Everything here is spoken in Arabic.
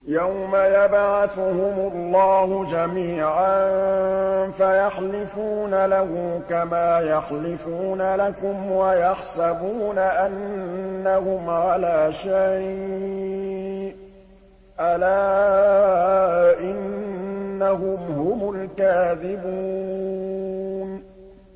يَوْمَ يَبْعَثُهُمُ اللَّهُ جَمِيعًا فَيَحْلِفُونَ لَهُ كَمَا يَحْلِفُونَ لَكُمْ ۖ وَيَحْسَبُونَ أَنَّهُمْ عَلَىٰ شَيْءٍ ۚ أَلَا إِنَّهُمْ هُمُ الْكَاذِبُونَ